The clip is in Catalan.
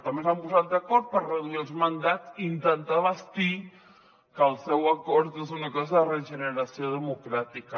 també s’han posat d’acord per reduir els mandats i intentar vestir que el seu acord és una cosa de regeneració democràtica